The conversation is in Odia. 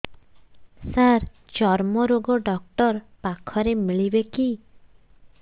ସାର ଚର୍ମରୋଗ ଡକ୍ଟର ପାଖରେ ମିଳିବେ କି